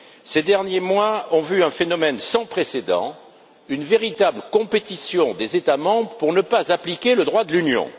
Ces derniers mois ont vu un phénomène sans précédent, une véritable compétition des États membres pour ne pas appliquer le droit de l'Union.